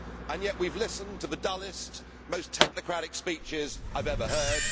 Yet we have listened to the dullest, most technocratic speeches I have ever heard.